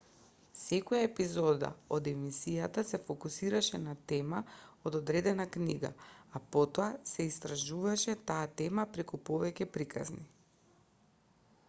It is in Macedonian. секоја епизода од емисијата се фокусирше на тема од одредена книга а потоа се истражуваше таа тема преку повеќе приказни